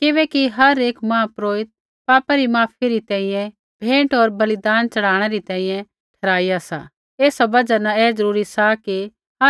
किबैकि हर एक महापुरोहित पापा री माफ़ी री तैंईंयैं भेंट होर बलिदान च़ढ़ाणै री तैंईंयैं ठहराइया सा एसा बजहा न ऐ ज़रूरी सा कि